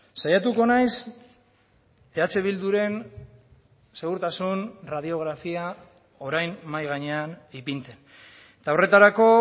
saiatuko naiz eh bilduren segurtasun radiografia orain mahai gainean ipintzen eta horretarako